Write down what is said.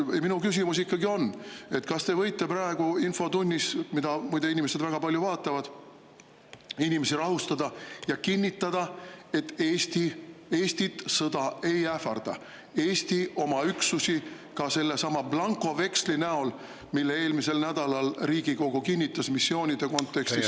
Minu küsimus ikkagi on, kas te võite praegu infotunnis, mida muide inimesed väga palju vaatavad, inimesi rahustada ja kinnitada, et Eestit sõda ei ähvarda, Eesti oma üksusi, ka sellesama blankoveksli alusel, mille eelmisel nädalal Riigikogu kinnitas missioonide kontekstis …